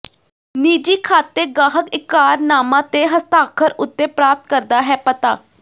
ਨਿੱਜੀ ਖਾਤੇ ਗਾਹਕ ਇਕਰਾਰਨਾਮਾ ਤੇ ਹਸਤਾਖਰ ਉੱਤੇ ਪ੍ਰਾਪਤ ਕਰਦਾ ਹੈ ਪਤਾ